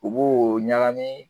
U b'o o ɲagami